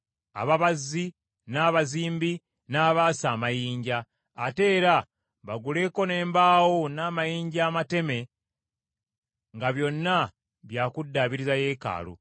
ababazzi, n’abazimbi, n’abaasa b’amayinja. Ate era baguleko n’embaawo n’amayinja amateme nga byonna bya kuddaabiriza yeekaalu.